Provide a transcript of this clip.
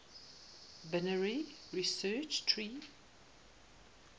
binary search tree